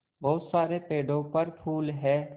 बहुत सारे पेड़ों पर फूल है